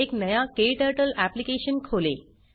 एक नया क्टर्टल एप्लिकेशन खोलें